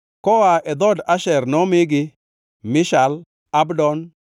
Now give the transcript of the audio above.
Koa e dhood Asher nomigi, Mishal, Abdon,